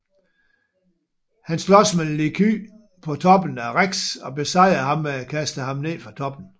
Han slås med Liquid på toppen af REX og besejrer ham ved at kaste ham ned fra toppen